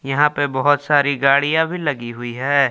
यहां पे बहुत सारी गाड़ियां भी लगी हुई है ।